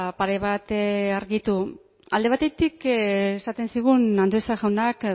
pare bat argitu alde batetik esaten zigun andueza jaunak